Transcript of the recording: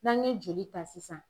N'an ɲe joli ta sisan